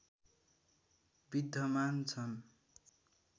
विद्धमान छन्